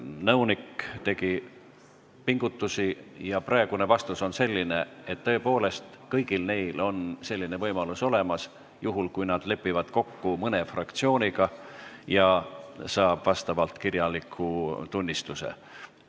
Nõunik tegi pingutusi ja praegune vastus on selline, et tõepoolest kõigil neil on selline võimalus olemas juhul, kui nad lepivad kokku mõne fraktsiooniga ja saavad vastava kirjaliku tunnistuse.